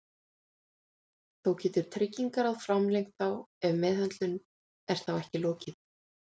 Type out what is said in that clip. Þó getur Tryggingaráð framlengt þá ef meðhöndlun er þá ekki lokið.